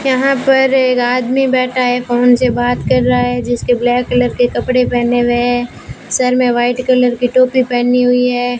यहां पर एक आदमी बैठा है फोन से बात कर रहा है जिसके ब्लैक कलर के कपड़े पहने हुए सर में व्हाइट कलर की टोपी पहनी हुई है।